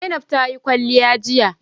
Zainab ta yi kwalliya jiya